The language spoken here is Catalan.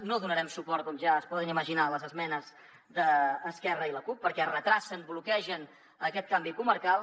no donarem suport com ja es poden imaginar a les esmenes d’esquerra i la cup perquè endarrereixen bloquegen aquest canvi comarcal